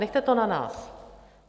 Nechte to na nás.